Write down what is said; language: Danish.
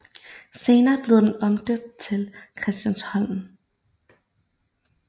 Senere blev den omdøbt til Christiansholm